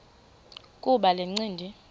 kuba le ncindi